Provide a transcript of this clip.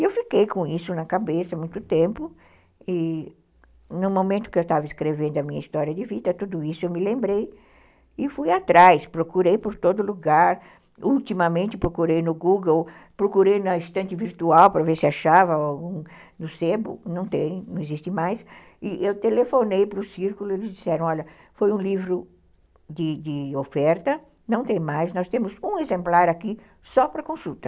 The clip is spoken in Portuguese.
E eu fiquei com isso na cabeça há muito tempo, e no momento que eu estava escrevendo a minha história de vida, tudo isso eu me lembrei, e fui atrás, procurei por todo lugar, ultimamente procurei no Google, procurei na estante virtual para ver se achava no sebo, não tem, não existe mais, e eu telefonei para o Círculo, eles disseram, olha, foi um livro de de oferta, não tem mais, nós temos um exemplar aqui só para consulta.